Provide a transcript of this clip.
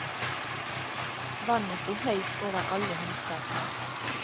Vannet sto høyt over alle hustak nå.